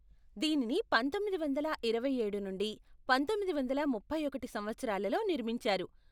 దీనిని పంతొమ్మిది వందల ఇరవై ఏడు నుండి పంతొమ్మిది వందల ముప్పై ఒకటి సంవత్సరాలలో నిర్మించారు.